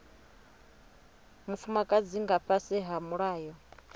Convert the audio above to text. mufumakadzi nga fhasi ha mulayo